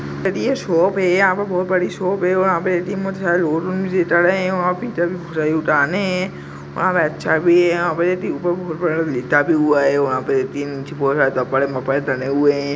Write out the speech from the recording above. यह शॉप है यहाँ बहुत बड़ी शॉप है और यहाँ पे ए.टी.एम. और अच्छा भी है लेटा भी हुआ है तने हुए हैं।